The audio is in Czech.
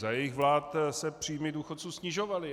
Za jejich vlád se příjmy důchodců snižovaly.